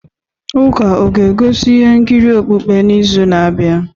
Ụka ọ ga-egosi ihe nkiri okpukpe n'izu na-abịa?